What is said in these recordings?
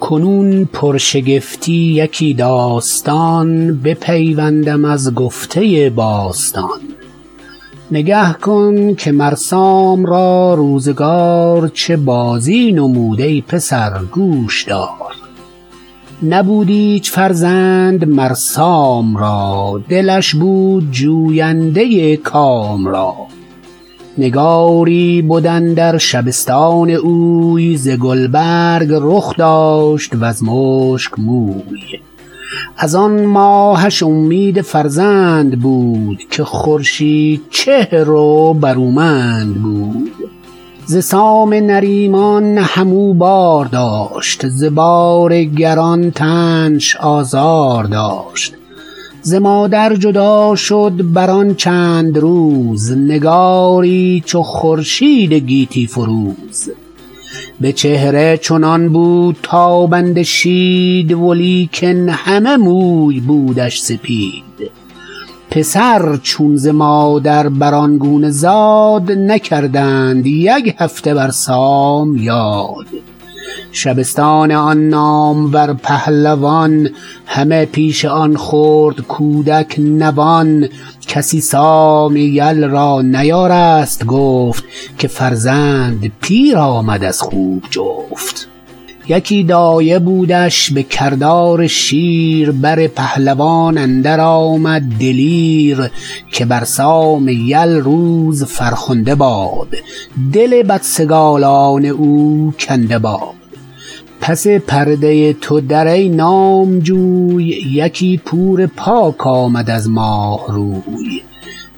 کنون پرشگفتی یکی داستان بپیوندم از گفته باستان نگه کن که مر سام را روزگار چه بازی نمود ای پسر گوش دار نبود ایچ فرزند مر سام را دلش بود جوینده کام را نگاری بد اندر شبستان اوی ز گلبرگ رخ داشت و ز مشک موی از آن ماهش امید فرزند بود که خورشید چهر و برومند بود ز سام نریمان هم او بار داشت ز بار گران تنش آزار داشت ز مادر جدا شد بر آن چند روز نگاری چو خورشید گیتی فروز به چهره چنان بود تابنده شید ولیکن همه موی بودش سپید پسر چون ز مادر بر آن گونه زاد نکردند یک هفته بر سام یاد شبستان آن نامور پهلوان همه پیش آن خرد کودک نوان کسی سام یل را نیارست گفت که فرزند پیر آمد از خوب جفت یکی دایه بودش به کردار شیر بر پهلوان اندر آمد دلیر که بر سام یل روز فرخنده باد دل بدسگالان او کنده باد پس پرده تو در ای نامجوی یکی پور پاک آمد از ماه روی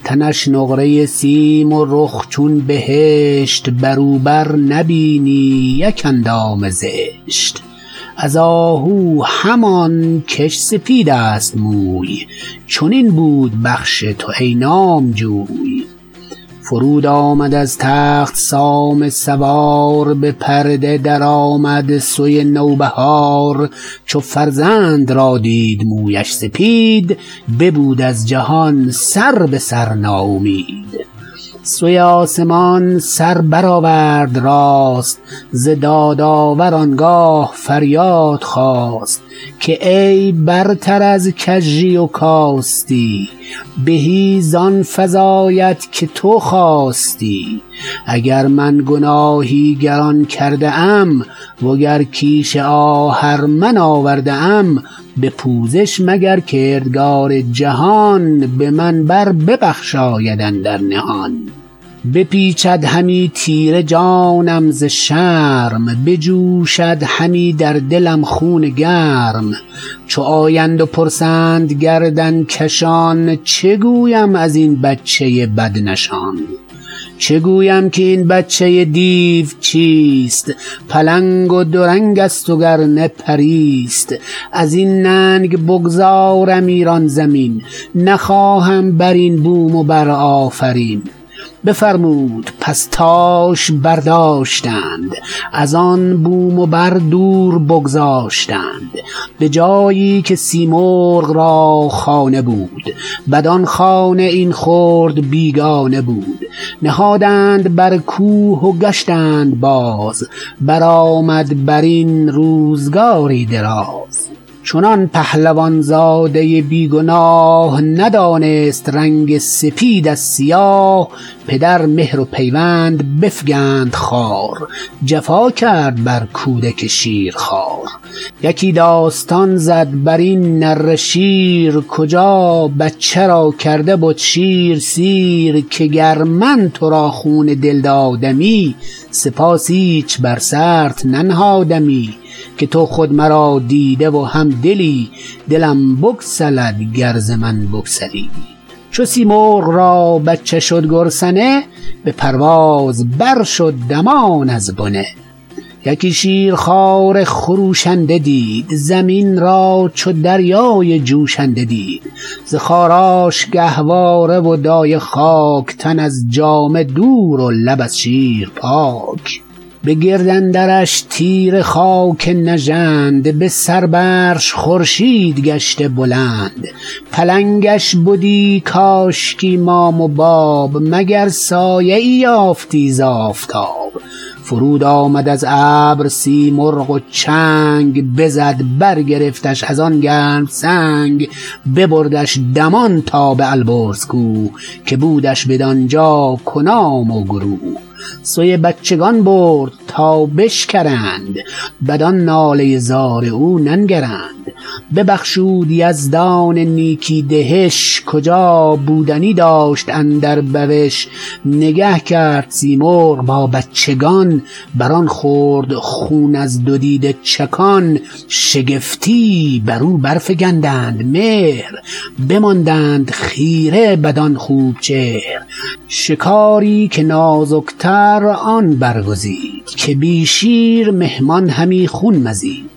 تنش نقره سیم و رخ چون بهشت بر او بر نبینی یک اندام زشت از آهو همان کش سپید است موی چنین بود بخش تو ای نامجوی فرود آمد از تخت سام سوار به پرده درآمد سوی نو بهار چو فرزند را دید مویش سپید ببود از جهان سر به سر ناامید سوی آسمان سر برآورد راست ز دادآور آنگاه فریاد خواست که ای برتر از کژی و کاستی بهی زان فزاید که تو خواستی اگر من گناهی گران کرده ام و گر کیش آهرمن آورده ام به پوزش مگر کردگار جهان به من بر ببخشاید اندر نهان بپیچد همی تیره جانم ز شرم بجوشد همی در دلم خون گرم چو آیند و پرسند گردن کشان چه گویم از این بچه بدنشان چه گویم که این بچه دیو چیست پلنگ و دو رنگ است و گر نه پری ست از این ننگ بگذارم ایران زمین نخواهم بر این بوم و بر آفرین بفرمود پس تاش برداشتند از آن بوم و بر دور بگذاشتند به جایی که سیمرغ را خانه بود بدان خانه این خرد بیگانه بود نهادند بر کوه و گشتند باز برآمد بر این روزگاری دراز چنان پهلوان زاده بی گناه ندانست رنگ سپید از سیاه پدر مهر و پیوند بفگند خوار جفا کرد بر کودک شیرخوار یکی داستان زد بر این نره شیر کجا بچه را کرده بد شیر سیر که گر من تو را خون دل دادمی سپاس ایچ بر سرت ننهادمی که تو خود مرا دیده و هم دلی دلم بگسلد گر ز من بگسلی چو سیمرغ را بچه شد گرسنه به پرواز بر شد دمان از بنه یکی شیرخواره خروشنده دید زمین را چو دریای جوشنده دید ز خاراش گهواره و دایه خاک تن از جامه دور و لب از شیر پاک به گرد اندرش تیره خاک نژند به سر برش خورشید گشته بلند پلنگش بدی کاشکی مام و باب مگر سایه ای یافتی ز آفتاب فرود آمد از ابر سیمرغ و چنگ بزد برگرفتش از آن گرم سنگ ببردش دمان تا به البرز کوه که بودش بدانجا کنام و گروه سوی بچگان برد تا بشکرند بدان ناله زار او ننگرند ببخشود یزدان نیکی دهش کجا بودنی داشت اندر بوش نگه کرد سیمرغ با بچگان بر آن خرد خون از دو دیده چکان شگفتی بر او بر فگندند مهر بماندند خیره بدان خوب چهر شکاری که نازک تر آن برگزید که بی شیر مهمان همی خون مزید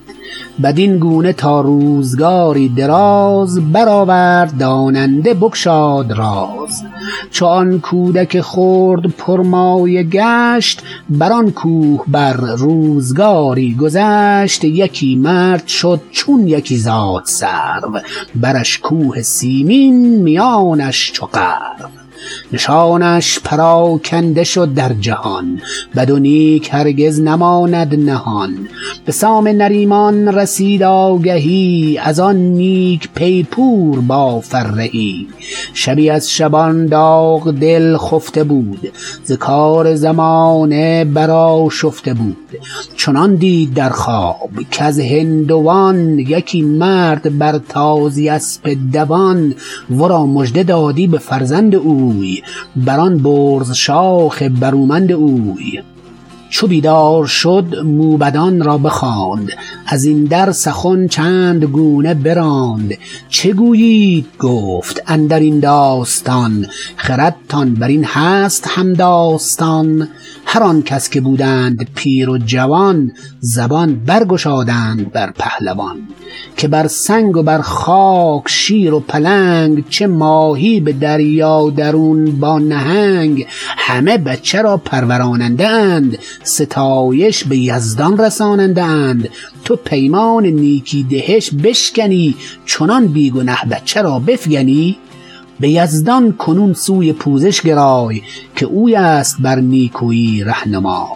بدین گونه تا روزگاری دراز برآورد داننده بگشاد راز چو آن کودک خرد پر مایه گشت بر آن کوه بر روزگاری گذشت یکی مرد شد چون یکی زاد سرو برش کوه سیمین میانش چو غرو نشانش پراگنده شد در جهان بد و نیک هرگز نماند نهان به سام نریمان رسید آگهی از آن نیک پی پور با فرهی شبی از شبان داغ دل خفته بود ز کار زمانه برآشفته بود چنان دید در خواب کز هندوان یکی مرد بر تازی اسپ دوان ورا مژده دادی به فرزند او بر آن برز شاخ برومند او چو بیدار شد موبدان را بخواند از این در سخن چند گونه براند چه گویید گفت اندر این داستان خردتان بر این هست هم داستان هر آنکس که بودند پیر و جوان زبان برگشادند بر پهلوان که بر سنگ و بر خاک شیر و پلنگ چه ماهی به دریا درون با نهنگ همه بچه را پروراننده اند ستایش به یزدان رساننده اند تو پیمان نیکی دهش بشکنی چنان بی گنه بچه را بفگنی به یزدان کنون سوی پوزش گرای که اوی است بر نیکویی رهنمای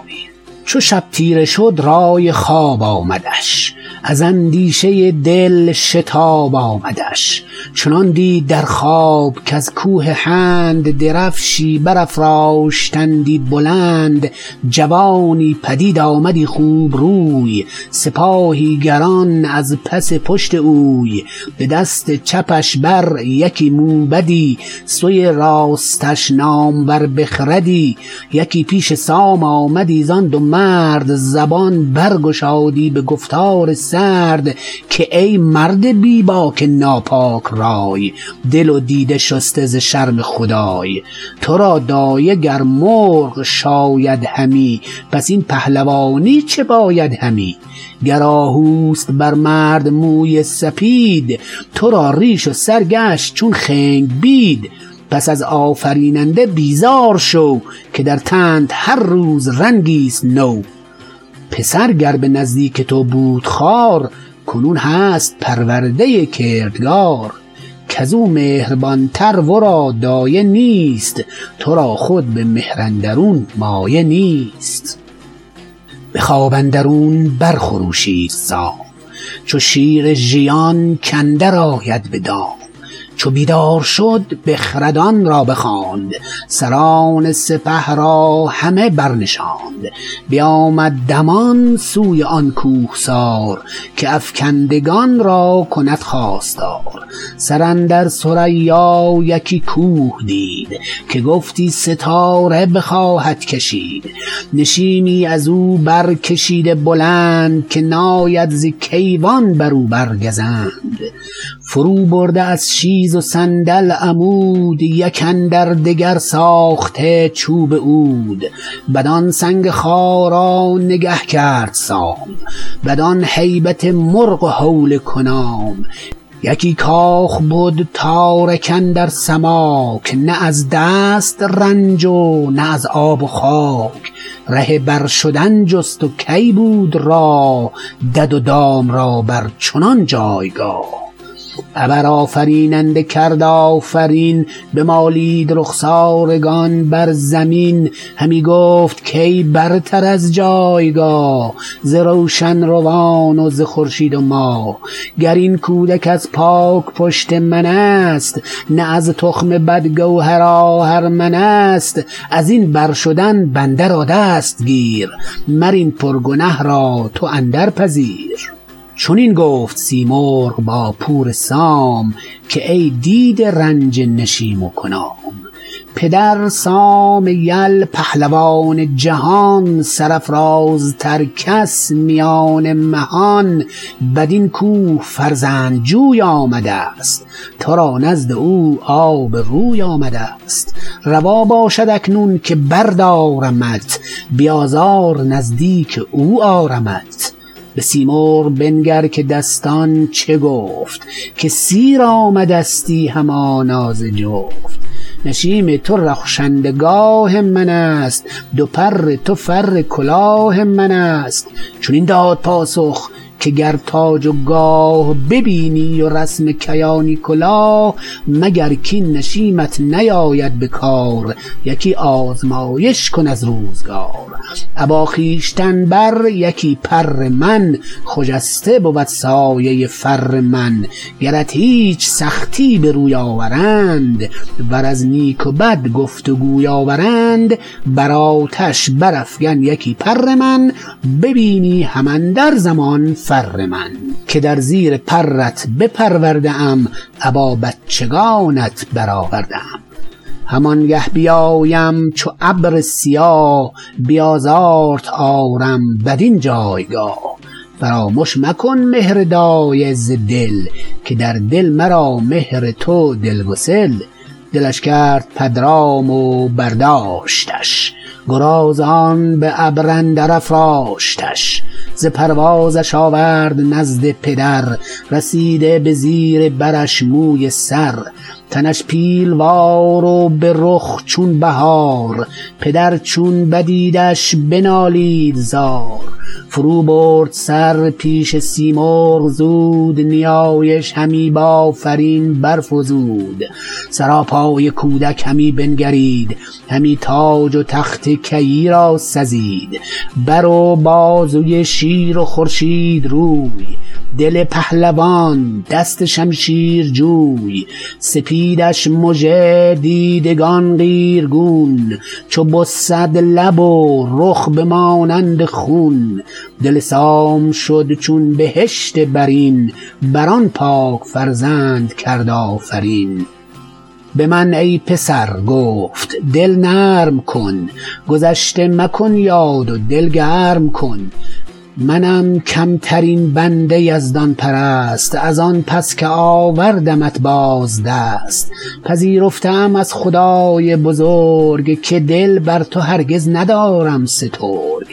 چو شب تیره شد رای خواب آمدش از اندیشه دل شتاب آمدش چنان دید در خواب کز کوه هند درفشی برافراشتندی بلند جوانی پدید آمدی خوب روی سپاهی گران از پس پشت اوی به دست چپش بر یکی موبدی سوی راستش نامور بخردی یکی پیش سام آمدی زان دو مرد زبان بر گشادی به گفتار سرد که ای مرد بی باک ناپاک رای دل و دیده شسته ز شرم خدای تو را دایه گر مرغ شاید همی پس این پهلوانی چه باید همی گر آهو است بر مرد موی سپید تو را ریش و سر گشت چون خنگ بید پس از آفریننده بیزار شو که در تنت هر روز رنگی ست نو پسر گر به نزدیک تو بود خوار کنون هست پرورده کردگار کز او مهربان تر ورا دایه نیست تو را خود به مهر اندرون مایه نیست به خواب اندرون بر خروشید سام چو شیر ژیان کاندر آید به دام چو بیدار شد بخردان را بخواند سران سپه را همه برنشاند بیامد دمان سوی آن کوهسار که افگندگان را کند خواستار سر اندر ثریا یکی کوه دید که گفتی ستاره بخواهد کشید نشیمی از او برکشیده بلند که ناید ز کیوان بر او بر گزند فرو برده از شیز و صندل عمود یک اندر دگر ساخته چوب عود بدان سنگ خارا نگه کرد سام بدان هیبت مرغ و هول کنام یکی کاخ بد تارک اندر سماک نه از دست رنج و نه از آب و خاک ره بر شدن جست و کی بود راه دد و دام را بر چنان جایگاه ابر آفریننده کرد آفرین بمالید رخسارگان بر زمین همی گفت کای برتر از جایگاه ز روشن روان و ز خورشید و ماه گر این کودک از پاک پشت من است نه از تخم بد گوهر آهرمن است از این بر شدن بنده را دست گیر مر این پر گنه را تو اندر پذیر چنین گفت سیمرغ با پور سام که ای دیده رنج نشیم و کنام پدر سام یل پهلوان جهان سرافرازتر کس میان مهان بدین کوه فرزند جوی آمدست تو را نزد او آب روی آمدست روا باشد اکنون که بردارمت بی آزار نزدیک او آرمت به سیمرغ بنگر که دستان چه گفت که سیر آمدستی همانا ز جفت نشیم تو رخشنده گاه من است دو پر تو فر کلاه من است چنین داد پاسخ که گر تاج و گاه ببینی و رسم کیانی کلاه مگر کاین نشیمت نیاید به کار یکی آزمایش کن از روزگار ابا خویشتن بر یکی پر من خجسته بود سایه فر من گرت هیچ سختی به روی آورند ور از نیک و بد گفت و گوی آورند بر آتش برافگن یکی پر من ببینی هم اندر زمان فر من که در زیر پرت بپرورده ام ابا بچگانت برآورده ام همان گه بیایم چو ابر سیاه بی آزارت آرم بدین جایگاه فرامش مکن مهر دایه ز دل که در دل مرا مهر تو دلگسل دلش کرد پدرام و برداشتش گرازان به ابر اندر افراشتش ز پروازش آورد نزد پدر رسیده به زیر برش موی سر تنش پیلوار و به رخ چون بهار پدر چون بدیدش بنالید زار فرو برد سر پیش سیمرغ زود نیایش همی بآفرین برفزود سراپای کودک همی بنگرید همی تاج و تخت کیی را سزید بر و بازوی شیر و خورشید روی دل پهلوان دست شمشیر جوی سپیدش مژه دیدگان قیرگون چو بسد لب و رخ به مانند خون دل سام شد چون بهشت برین بر آن پاک فرزند کرد آفرین به من ای پسر گفت دل نرم کن گذشته مکن یاد و دل گرم کن منم کم ترین بنده یزدان پرست از آن پس که آوردمت باز دست پذیرفته ام از خدای بزرگ که دل بر تو هرگز ندارم سترگ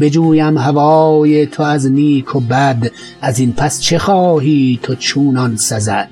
بجویم هوای تو از نیک و بد از این پس چه خواهی تو چونان سزد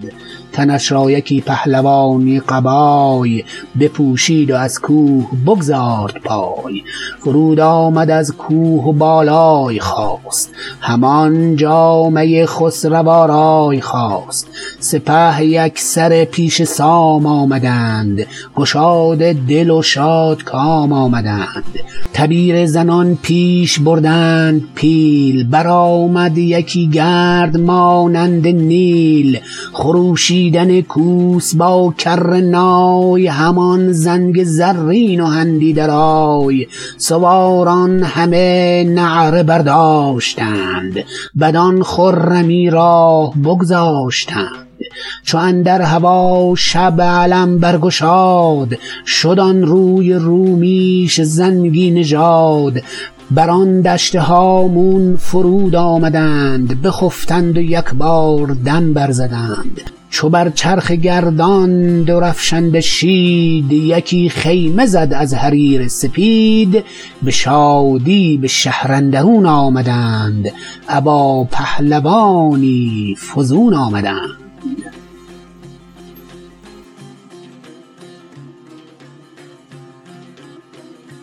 تنش را یکی پهلوانی قبای بپوشید و از کوه بگزارد پای فرود آمد از کوه و بالای خواست همان جامه خسرو آرای خواست سپه یک سره پیش سام آمدند گشاده دل و شادکام آمدند تبیره زنان پیش بردند پیل برآمد یکی گرد مانند نیل خروشیدن کوس با کره نای همان زنگ زرین و هندی درای سواران همه نعره برداشتند بدان خرمی راه بگذاشتند چو اندر هوا شب علم برگشاد شد آن روی رومیش زنگی نژاد بر آن دشت هامون فرود آمدند بخفتند و یکبار دم بر زدند چو بر چرخ گردان درفشنده شید یکی خیمه زد از حریر سپید به شادی به شهر اندرون آمدند ابا پهلوانی فزون آمدند